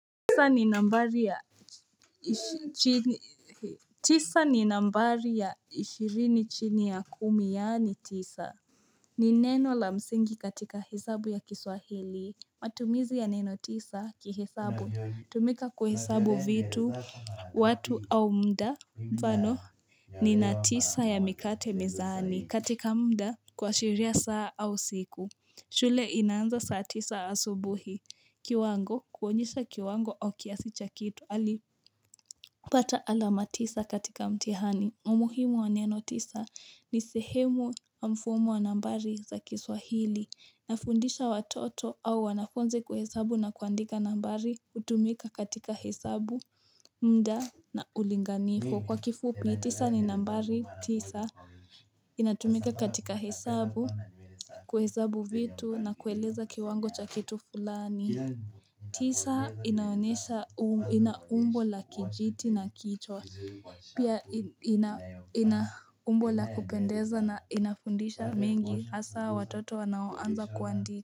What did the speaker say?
Tisa ni nambari ya ishirini chini ya kumi yaani tisa ni neno la msingi katika hesabu ya kiswahili matumizi ya neno tisa kihesabu hutumika kuhesabu vitu watu au mda mfano nina tisa ya mikate mezani katika mda kuashiria saa au siku shule inaanza saa tisa asubuhi kiwango kuonyesha kiwango au kiasi cha kitu alipata alama tisa katika mtihani umuhimu wa neno tisa ni sehemu wa mfumu wa nambari za kiswahili Nafundisha watoto au wanafunzi kuhesabu na kuandika nambari hutumika katika hesabu mda na ulinganifu Kwa kifupi tisa ni nambari tisa inatumika katika hesabu kuhesabu vitu na kueleza kiwango cha kitu fulani tisa inaonesha ina umbo la kijiti na kichwa Pia i ina ina umbo la kupendeza na inafundisha mengi Hasaa watoto wanaonza kuandi.